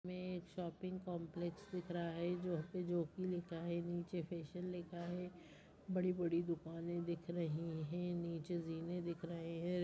हमें एक shopping complex दिख रहा है जहाँ पे जॉकी लिखा है नीचे फैशन लिखा है बड़ी-बड़ी दुकानें दिख रही है नीचे जीने दिख रहे हैं।